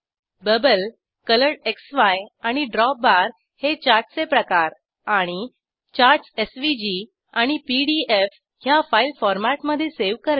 bubble कोलोरेडक्सी आणि drop bar हे चार्टचे प्रकार आणि 4चार्टस एसव्हीजी आणि पीडीएफ ह्या फाईल फॉरमॅटमधे सावे करणे